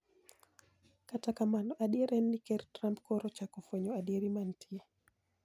Kata kamano adier en ni ker Trump koro ochako fwenyo adieri mantie.